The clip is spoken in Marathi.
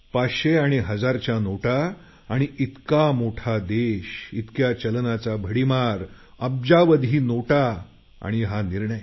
पाचशे आणि हजारच्या नोटा आणि इतका मोठा देश इतक्या चलनाचा भडीमार अब्जावधी नोटा आणि हा निर्णय